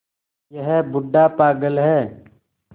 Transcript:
यह बूढ़ा पागल है